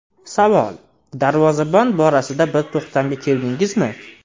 Savol: Darvozabon borasida bir to‘xtamga keldingizmi?